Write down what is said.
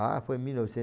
Ah, foi em mil